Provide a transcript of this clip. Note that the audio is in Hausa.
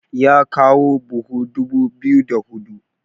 ya kawo buhu dubu biyu da hudu